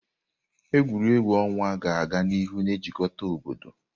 Egwuregwu ọnwa ga-aga n'ihu na-ejikọta obodo.